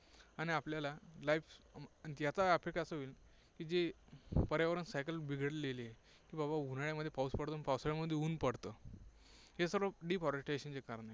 आणि आपल्याला life याचा affect असा होईल की जे पर्यावरण cycle बिघडलेली आहे की बाबा उन्हाळ्यामध्ये पाऊस पडतो आणि पावसाळ्यामध्ये ऊन पडतं, हे सर्व deforestation ची कारणं आहेत.